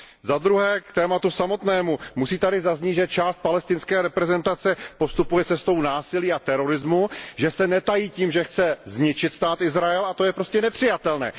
Za druhé, k tématu samotnému, musí tady zaznít, že část palestinské reprezentace postupuje cestou násilí a terorismu, že se netají tím, že chce zničit Stát Izrael, a to je prostě nepřijatelné.